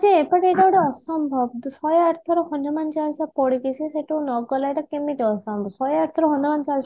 ଯେ but ଏଟା ଗୋଟେ ଅସମ୍ଭବ ଶହେ ଆଠ ଥର ହନୁମାନ ଚାଳିଶା ପଢିକି ସେ ସେଠୁ ନଗଲା ଏଟା କେମିତି ସମ୍ଭବ ଶହେ ଆଠ ଥର ହନୁମାନ ଚାଳିଶା